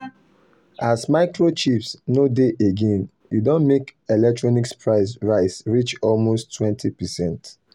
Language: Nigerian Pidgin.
as microchips no dey again e don make electronics price rise reach almost 20%.